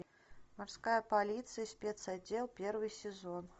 морская полиция спецотдел первый сезон